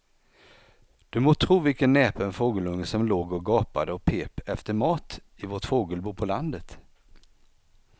Du må tro vilken näpen fågelunge som låg och gapade och pep efter mat i vårt fågelbo på landet.